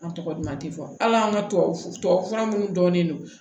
An tɔgɔ duman tɛ fɔ hali an ka tubabu tubabu fura minnu dɔn ne no